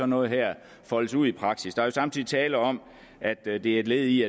noget her foldes ud i praksis der er samtidig tale om at det det er et led i